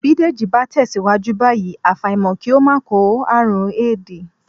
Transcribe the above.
Bí Dèjì bá tẹ̀síwájú báyìí, àfàìmọ̀ kí ó máa kó àrùn éèdì